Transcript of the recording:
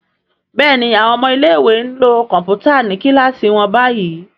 Béèni àwọn ọmọ ilé ìwé nlò Kọ̀ǹpútà ní kilasi wón bayí.